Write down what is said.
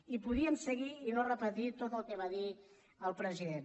i podríem seguir i no repetir tot el que va dir el president